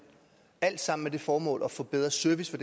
alt sammen med det formål at få bedre service for